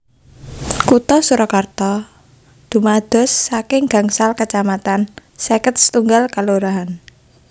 Kutha Surakarta dumados saking gangsal kacamatan seket setunggal kalurahan